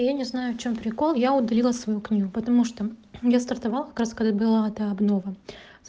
я не знаю в чём прикол я удалила свою книгу потому что я стартовала как раз когда была эта обнова